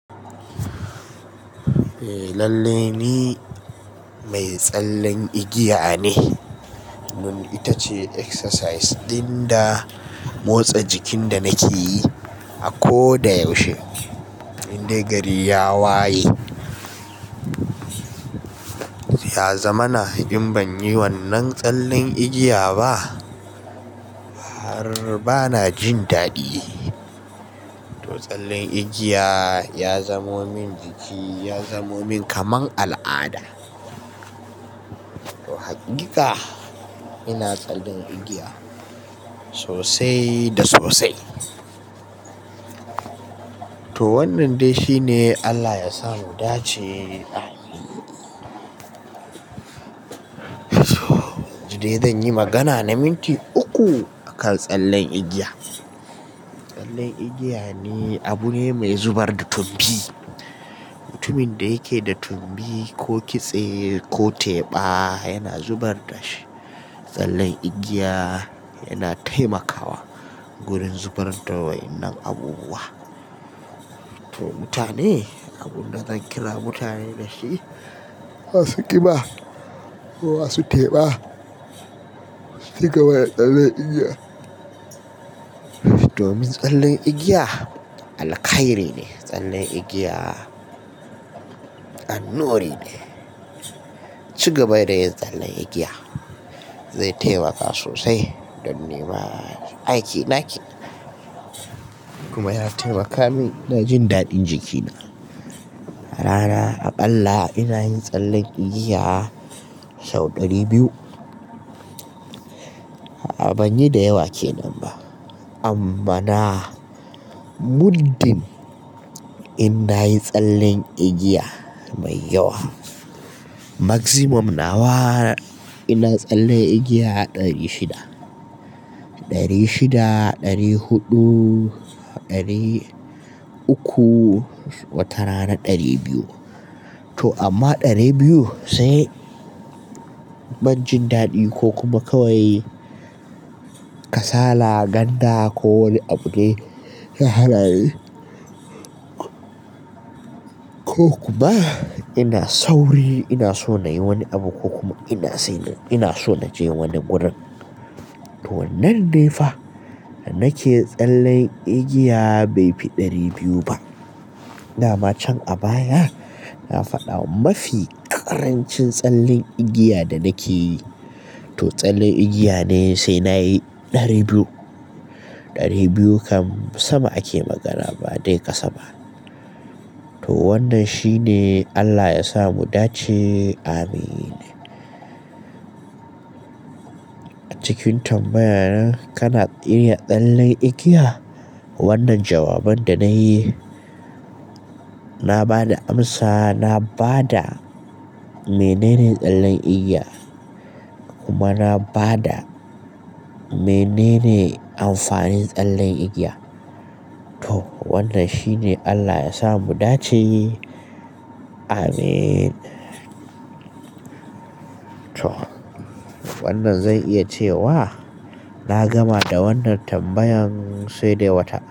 Eh lallai ni mai tsallen igiya ne. Dun ita ce exercise ɗin da motsa jikin da nake yi a ko da yaushe. Indai gari ya waye, ya zamana in ban yi wannan tsallen igiya ba har bana jin daɗi. To tsallen igiya ya zamo min jiki, ya zamo min kaman al'ada. To haƙiƙa ina tsallan igiya sosai da sosai. To wannan dai shi ne Allah yasa mu dace ameen. Jide zan yi magana na minti uku akan tsallen igiya. Tsallen igiya ne abu ne mai zubar da tumbi. Mutumin da yake da tumbi ko kitse ko teɓa yana zubar da shi. Tsallen igiya yana taimakawa gurin zubar da wa'innan abubuwa. To mutane, abun da zan kira mutane da shi, masu ƙiba ko masu teɓa su shiga mana tsallen igiya. Domin tsallen igiya alkhairi ne. Tsallen igiya annuri ne. Ci gaba da yin tsallen igiya zai taimaka sosai don nema aiki naki. Kuma ya taimaka min na jin daɗin jikina. Rana aɓalla ina yin tsallen igiya sau ɗari biyu. A'a ban yi da yawa kenan ba. Amma na muddin in na yi tsallen igiya mai yawa. Maximum nawa ina tsalle igiya ɗari shida. Ɗari shida, ɗari huɗu, ɗari uku watara na ɗari biyu. To amma ɗari biyu sai ban jin daɗi ko kuma kawai kasala, ganda ko wani abu ne ya hana ni. Ko kuma ina sauri ina so na yi wani abu ko kuma ina sai ina so na je wani gurin. To wannan ne fa da nake tsallen igiya bai fi ɗari biyu ba. Da ma can a baya na faɗa mafi ƙarancin tsallen igiya da nake yi to tsallen igiya ne sai na yi ɗari biyu. Ɗari biyu kam sama ake magana ba dai ƙasa ba. To wannan shi ne Allah yasa mu dace ameen. Jikin tambayan kana iya tsallen igiya? Wannan jawabar da na yi na ba da amsa. Na ba da menene tsallen igiya kuma na ba da menene amfanin tsallen igiya. To wannan shi ne Allah yasa mu dace ameen. To wannan zan iya ce wa na gama da wannan tambayan sai dai wata.